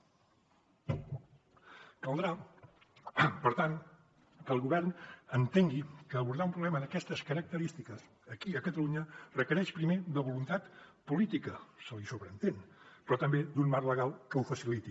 caldrà per tant que el govern entengui que abordar un problema d’aquestes característiques aquí a catalunya requereix primer de voluntat política se li sobreentén però també d’un marc legal que ho faciliti